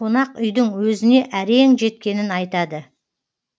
қонақ үйдің өзіне әрең жеткенін айтады